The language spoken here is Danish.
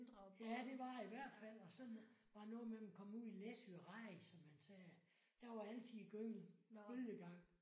Ja det var i hvert fald. Og sådan var det noget med man kom ud i Læsø regn som man sagde der var altid gynge bølgegang